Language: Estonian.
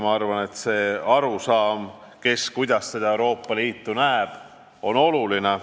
Usun, et see, kes kuidas Euroopa Liitu näeb, on oluline.